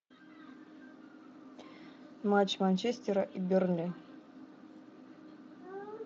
матч манчестера и бернли